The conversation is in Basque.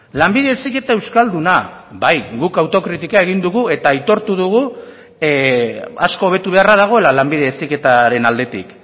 lanbide heziketa euskalduna bai guk autokritika egin dugu eta aitortu dugu asko hobetu beharra dagoela lanbide heziketaren aldetik